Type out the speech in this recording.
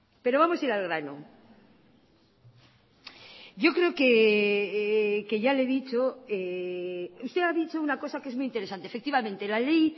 pero vamos a ir al grano usted ha dicho una cosa que es muy interesante efectivamente la ley